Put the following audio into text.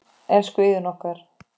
Elsku Iðunn okkar.